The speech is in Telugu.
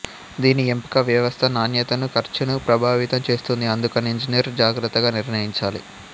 దీని ఎంపిక వ్యవస్థ నాణ్యతను ఖర్చును ప్రభావితం చేస్తుంది అందుకని ఇంజనీర్ జాగ్రత్తగా నిర్ణయించాలి